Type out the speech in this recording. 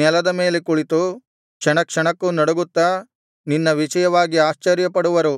ನೆಲದ ಮೇಲೆ ಕುಳಿತು ಕ್ಷಣ ಕ್ಷಣಕ್ಕೂ ನಡುಗುತ್ತಾ ನಿನ್ನ ವಿಷಯವಾಗಿ ಆಶ್ಚರ್ಯಪಡುವರು